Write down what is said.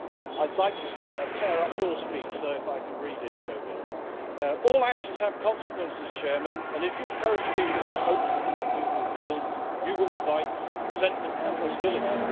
I would like to tear up your speech though, if I could read it, José. All actions have consequences, and if you encourage people to have hopes that cannot be fulfilled then you will invite resentment and hostility.